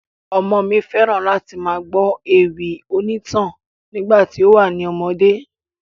Ọmọ mi fẹ́ran láti máa gbọ́ ewì onítàn nígbà tí ó wà ní ọmọdé.